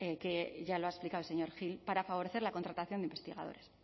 que ya lo ha explicado el señor gil para favorecer la contratación de investigadores